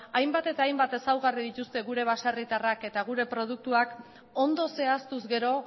hainbat eta hainbat ezaugarri dituzte gure baserritarrak eta gure produktuak ondo zehaztuz gero